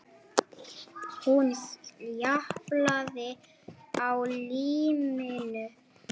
Hún japlaði á líminu.